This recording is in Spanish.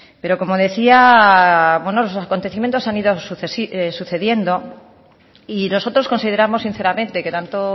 pero como decía los acontecimientos han ido sucediendo y nosotros consideramos sinceramente que tanto